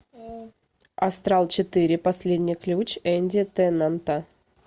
астрал четыре последний ключ энди теннанта